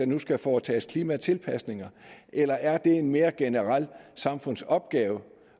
nu skal foretage klimatilpasninger eller er det en mere generel samfundsopgave